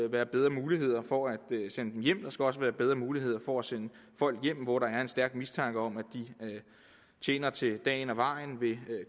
være bedre muligheder for at sende dem hjem og der skal også være bedre muligheder for at sende folk hjem hvis der er en stærk mistanke om at de tjener til dagen og vejen ved